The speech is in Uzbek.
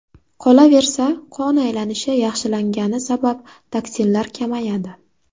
Qolaversa, qon aylanishi yaxshilangani sabab toksinlar kamayadi.